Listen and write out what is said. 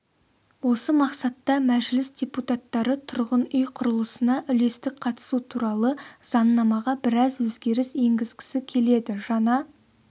осы мақсатта мәжіліс депутаттары тұрғын үй құрылысына үлестік қатысу туралы заңнамаға біраз өзгеріс енгізгісі келеді жаңа